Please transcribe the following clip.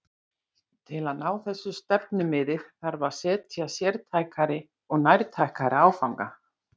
Til að ná þessu stefnumiði þarf að setja sértækari og nærtækari áfanga.